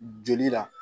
Joli la